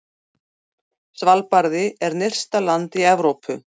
Svalbarði er nyrsta land í Evrópu.